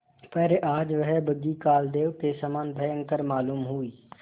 पर आज वह बग्घी कालदेव के समान भयंकर मालूम हुई